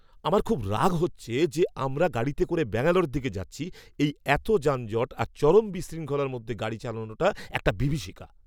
আমার খুব রাগ হচ্ছে যে আমরা গাড়িতে করে ব্যাঙ্গালোরের দিকে যাচ্ছি। এই এত যানজট আর চরম বিশৃঙ্খলার মধ্যে গাড়ি চালানোটা একটা বিভীষিকা!